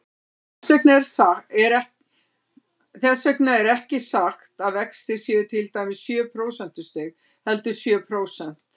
Þess vegna er ekki sagt að vextir séu til dæmis sjö prósentustig, heldur sjö prósent.